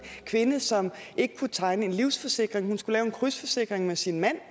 kvinde som ikke kunne tegne en livsforsikring hun skulle lave en krydsforsikring med sin mand